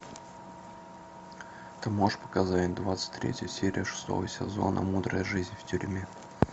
ты можешь показать двадцать третью серию шестого сезона мудрая жизнь в тюрьме